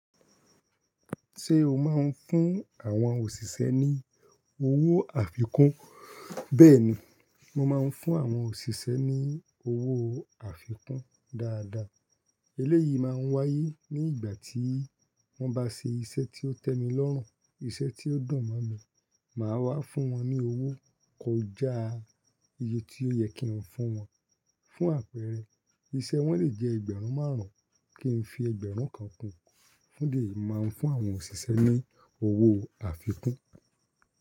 Ṣé o máa ń fún àwọn òṣìṣẹ́ ní owó àfikún? Bẹ́ẹ̀ni, mo máa ń fún àwọn òṣìṣẹ́ ní owó àfikún dáadáa. Eléyìí máa ń wáyé ní ìgbà tí wọ́n bá ṣe iṣẹ́ tí ó tẹ́mi lọ́rùn, iṣẹ́ tí ó dùn mọ́ mi, màá wá fún wọn ní owó kọjá iye tí ó yẹ kí n fún wọn. Fún àpẹẹrẹ, iṣẹ́ wọ́n lè jẹ́ ẹgbẹ̀rún márùn-ún kí n fi ẹgbẹ̀rún kan kún un. Ó lè máa ń fún àwọn òṣìṣẹ́ ní owó àfikún.